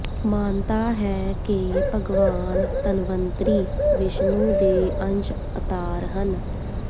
ਮਾਨਤਾ ਹੈ ਕਿ ਭਗਵਾਨ ਧਨਵੰਤਰੀ ਵਿਸ਼ਨੂੰ ਦੇ ਅੰਸ਼ ਅਤਾਰ ਹਨ